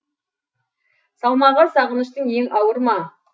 салмағы сағыныштың ең ауыр ма